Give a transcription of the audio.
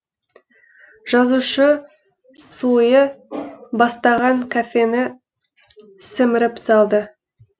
жазушы суый бастаған кофені сіміріп салды